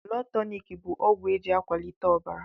Blọd tọnik bụ ọgwụ eji a kwalite ọbara.